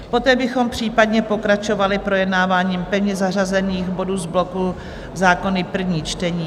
Poté bychom případně pokračovali projednáváním pevně zařazených bodů z bloku Zákony - první čtení.